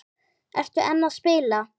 Ertu enn að spila?